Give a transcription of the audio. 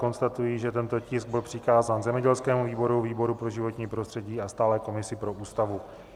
Konstatuji, že tento tisk byl přikázán zemědělskému výboru, výboru pro životní prostředí a Stálé komisi pro Ústavu.